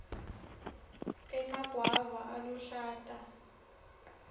emagwava aluhlata